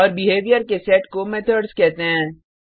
और बिहेवियर के सेट को मेथड्स कहते हैं